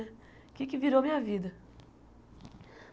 O que é que virou a minha vida?